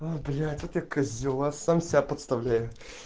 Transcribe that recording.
а блять вот я козёл а сам себя подставляю